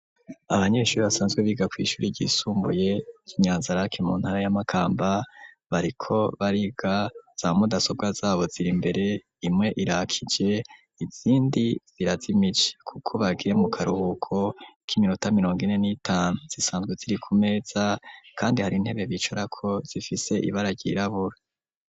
Abanyeshure basanzwe biga ku ishure ryisumbuye ry'inyanzaraki mu ntara ya makamba bariko bariga za mudasobwa zabo ziri imbere imwe irakije izindi zirazimije kuko bagiye mu karuhuko kiminota mirongo ine n'itanu zisanzwe ziri ku meza kandi hari intebe bicara ko zifise ibara ryirabura.